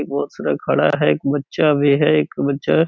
बहुत सारा खड़ा है । एक बच्चा भी है । एक बच्चा --